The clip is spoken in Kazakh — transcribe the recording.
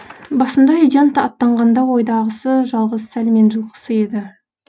басында үйден аттанғанда ойдағысы жалғыз сәлмен жылқысы еді